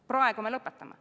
Praegu me lõpetame.